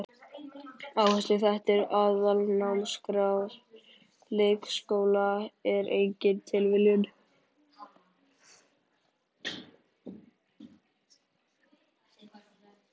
Áhersluþættir Aðalnámskrár leikskóla er engin tilviljun.